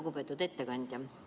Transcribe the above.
Lugupeetud ettekandja!